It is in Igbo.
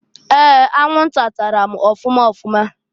Ee! Anwụnta tara m ọfụma ọfụma.